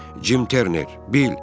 Cim Terner, bil.